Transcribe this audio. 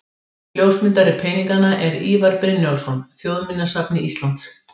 Ljósmyndari peninganna er Ívar Brynjólfsson, Þjóðminjasafni Íslands.